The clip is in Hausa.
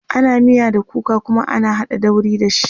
ana miya da kuka Kuma ana haɗa dauri da shi